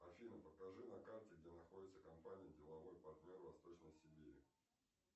афина покажи на карте где находится компания деловой партнер восточной сибири